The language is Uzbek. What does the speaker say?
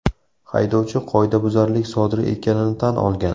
Haydovchi qoidabuzarlik sodir etganini tan olgan.